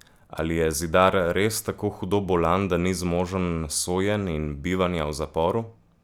Ali je Zidar res tako hudo bolan, da ni zmožen sojenj in bivanja v zaporu?